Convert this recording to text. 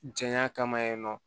Jɛnya kama yen nɔ